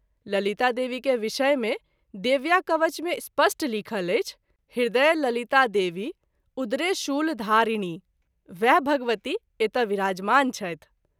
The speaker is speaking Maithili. ललिता देवी के विषय मे “ देव्या कवच “ मे स्पष्ट लिखल अछि - “हृदये ललिता देवी उदरे शूलधारिणी” वएह भगवती एतय विराजमान छथि।